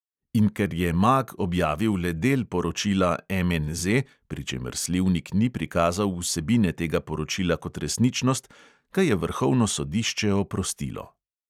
In ker je mag objavil le del poročila MNZ, pri čemer slivnik ni prikazal vsebine tega poročila kot resničnost, ga je vrhovno sodišče oprostilo.